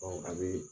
a bɛ